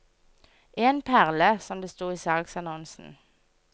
En perle, som det sto i salgsannonsen.